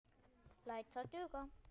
Læt það duga.